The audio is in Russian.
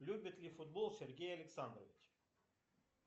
любит ли футбол сергей александрович